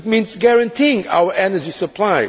It means guaranteeing our energy supply.